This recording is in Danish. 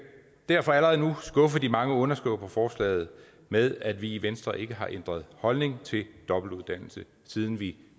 derfor allerede nu skuffe de mange underskrivere på forslaget med at vi i venstre ikke har ændret holdning til dobbeltuddannelse siden det